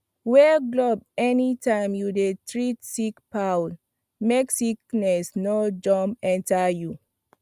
wear glove anytime you dey treat sick fowl make sickness no jump enter you